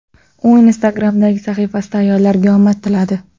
U Instagram’dagi sahifasida ayollarga omad tiladi.